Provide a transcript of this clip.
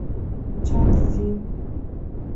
чанцзи